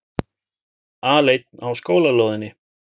Aleinn á skólalóðinni.